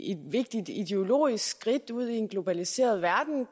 vigtigt ideologisk skridt ud i en globaliseret verden